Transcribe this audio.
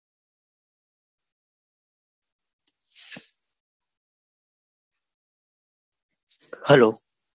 Hello